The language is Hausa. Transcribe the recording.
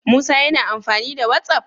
Musa yAna amfani da whatsapp?